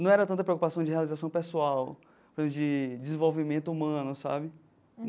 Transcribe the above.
não era tanta preocupação de realização pessoal, de desenvolvimento humano, sabe?